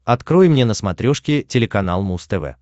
открой мне на смотрешке телеканал муз тв